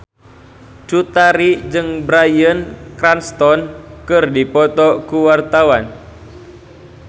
Cut Tari jeung Bryan Cranston keur dipoto ku wartawan